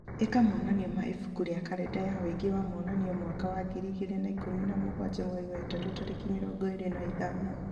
ĩka monanio ma ibuku rĩa karenda ya ũingĩ wa monanio mwaka wa ngiri igĩrĩ na ikũmi na mũgwanja mweri wa ĩtatũ tarĩki mĩrongo ĩrĩ na ithano